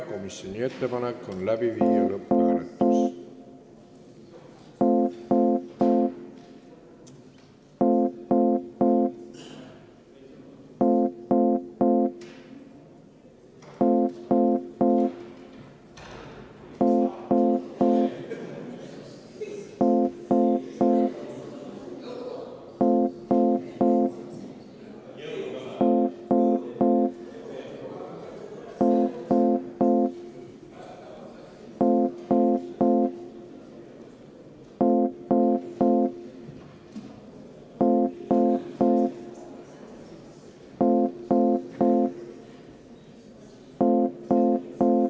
Komisjoni ettepanek on panna eelnõu lõpphääletusele.